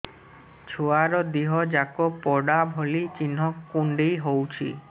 ଛୁଆର ଦିହ ଯାକ ପୋଡା ଭଳି ଚି଼ହ୍ନ କୁଣ୍ଡେଇ ହଉଛି